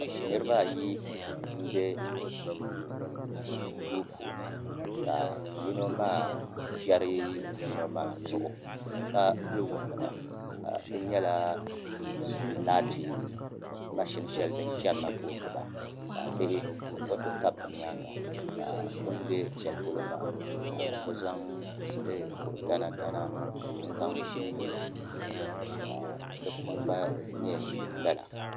Niraba ayi n bɛ duu puuni ka yino maa chɛri yino maa zuɣu ka pili woliɣa ka di nyɛla laati mashin shɛli din chɛrila ka o gbuba ka a lihi ka foto tabi bi nyaanga ka bi ni bɛ shɛli polo maa ka bi zaŋ kuri gana gana n guli ka di puni gba nyɛ lala